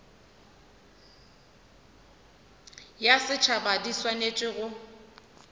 ya setšhaba di swanetše go